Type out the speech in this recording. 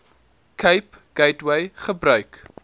cape gateway gebruik